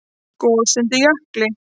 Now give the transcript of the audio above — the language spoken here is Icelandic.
Gos undir jökli